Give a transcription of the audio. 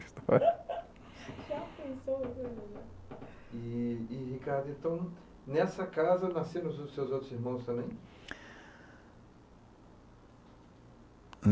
já pensouE e, Ricardo, então, nessa casa nasceram os seus outros irmãos também?